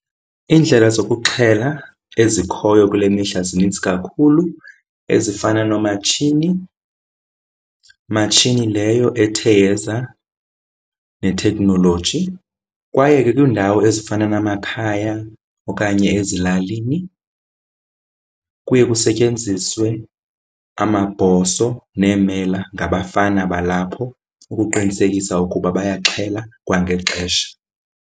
Iindlela zokuxhela ezikhoyo kule mihla zininzi kakhulu ezifana noomatshini, matshini leyo ethe yeza neteknoloji. Kwaye ke kwiindawo ezifana namakhaya okanye ezilalini kuye kusetyenziswe amabhoso neemela ngabafana balapho ukuqinisekisa ukuba bayaxhela kwangexesha.